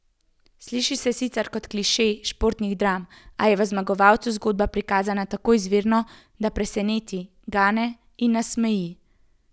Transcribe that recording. Sliši se sicer kot kliše športnih dram, a je v Zmagovalcu zgodba prikazana tako izvirno, da preseneti, gane in nasmeji.